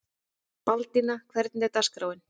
Baldína, hvernig er dagskráin?